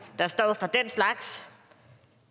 der står for den slags